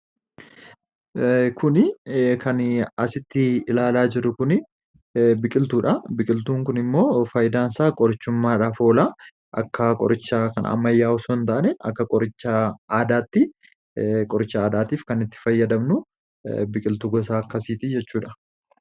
kun kan asitti ilaalaa jirru kun biqiltuu dha biqiltuun kun immoo faayidaan isaa qorichummaadhaf oola akka qorichaa kan ammayyaa'u son ta'ane akka qorichaa aadaatti qoricha aadaatiif kan itti fayyadamnu biqiltuu gosaa akkasiiti jechuudha